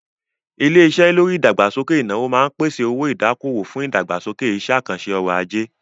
Ilé-iṣé lórí ìdàgbàsókè ìnáwó máa ń pèsè owó-ìdákòwò fún ìdàgbàsókè iṣẹ́-àkànṣe ọrọ̀-ajé.